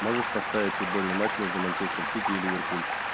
можешь поставить футбольный матч между манчестер сити и ливерпуль